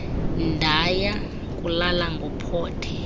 ndaya kulala ngophothe